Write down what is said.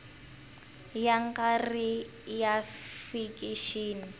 ya nga ri ya fikixini